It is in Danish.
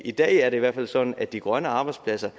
i dag er det i hvert fald sådan at de grønne arbejdspladser